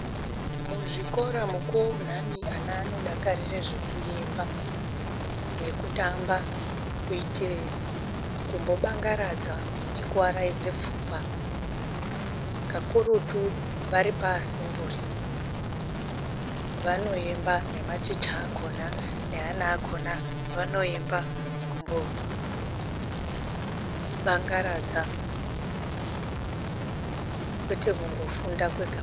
Muzvikora mukuwo unhani vanodakarira zv ekuemba nekutamba kuita kumbobangaradza nekuaraidza pfungwa kakurutu varipaasemnuri vanoemba nematicha akona akona vaonemba kumbobangaradza kwete kumbofunda kwegakwega.